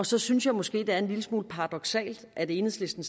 så synes jeg måske det er en lille smule paradoksalt at enhedslisten